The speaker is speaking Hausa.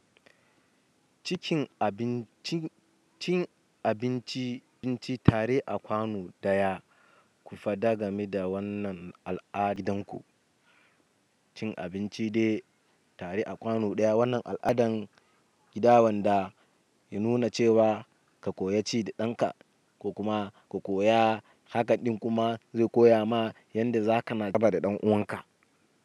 Cin abinci tare a kwano ɗaya, ku faɗa game da wannan al'adanku. Cin abinci dai tare a kwano ɗaya wannan aladan gida wanda ya nuna cewa ka koyi ci da danka ko kuma ka koya, haka ɗin kuma zai koya ma yadda za ka na da ɗan uwanka.